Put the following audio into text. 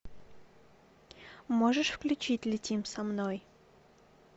можешь включить летим со мной